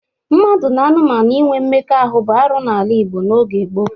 Mmadụ na anụmanụ inwe mmekọahụ bụ arụ n'ala Igbo n'oge gboo.